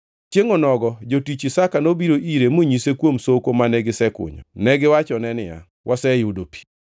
Chiengʼ onogo jotich Isaka nobiro ire monyise kuom soko mane gisekunyo. Negiwachone niya, “Waseyudo pi!”